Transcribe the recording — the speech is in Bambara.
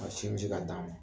Ba sinji ka d'a ma